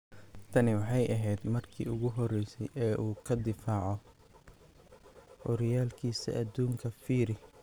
Tani waxay ahayd markii ugu horeysay ee uu ka difaaco horyaalkiisa adduunka Phiri.